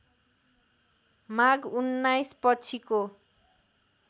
माघ १९ पछिको